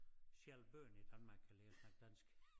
Selv bøgerne i Danmark kan lære at snakke dansk